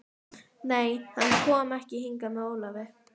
Nei, hann kom ekki hingað með Ólafi.